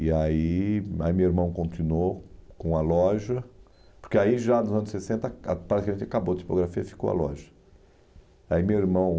E aí aí meu irmão continuou com a loja, porque aí já nos anos sessenta ah praticamente acabou a tipografia e ficou a loja. Aí meu irmão